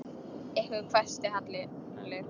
Ykkur hvæsti Halli.